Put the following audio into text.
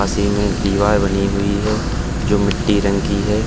सी में दीवार बनी हुई है जो मिट्टी रंग की है।